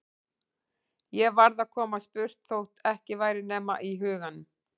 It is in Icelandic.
Ég varð að komast burt þótt ekki væri nema í huganum.